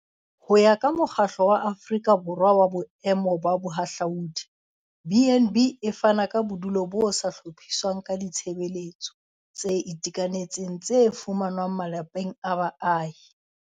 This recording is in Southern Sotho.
Ho ya ka Mokgatlo wa Aforika Borwa wa Boemo ba Bohahlaudi, BnB e fana ka bodulo bo sa hlophiswang ka ditshebeletso tse itekanetseng tse fumanwang malapeng a baahi.